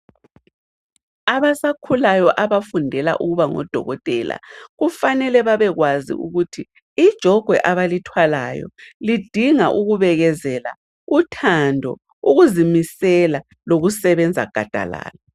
Abasakhulayo abafundela ukuba ngodokotela kufanele babekwazi ukuthi ijogwe abalithwalayo lidinga ukubekezela, uthando, ukuzimisela lokusebenza gadalala.